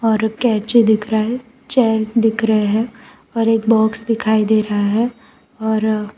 और कैची दिख रहा है चेयर्स दिख रहे है और एक बॉक्स दिखाई दे रहा है और--